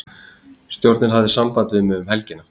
Stjórnin hafði samband við mig um helgina.